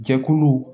Jɛkulu